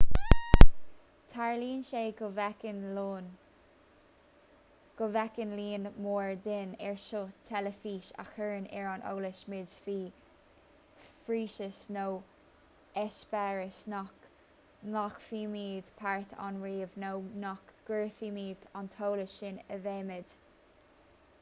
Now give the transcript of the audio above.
tarlaíonn sé go bhféachann líon mór dínn ar sheó teilifíse a chuireann ar an eolas muid faoi phróiseas nó eispéireas nach nglacfaimid páirt ann riamh nó nach gcuirfimid an t-eolas sin i bhfeidhm